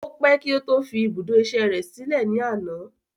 O pé kí ó tó fi ibùdó ìṣe rẹ sílè ní àná.